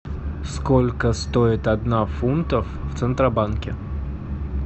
сколько стоит одна фунтов в центробанке